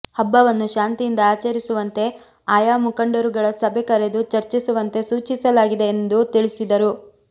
ಹಬ್ಬವನ್ನು ಶಾಂತಿಯಿಂದ ಆಚರಿಸುವಂತೆ ಆಯಾ ಮುಖಂಡರುಗಳ ಸಭೆ ಕರೆದು ಚರ್ಚಿಸುವಂತೆ ಸೂಚಿಸಲಾಗಿದೆ ಎಂದು ತಿಳಿಸಿದರು